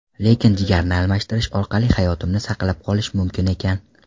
Lekin jigarni almashtirish orqali hayotimni saqlab qolish mumkin ekan.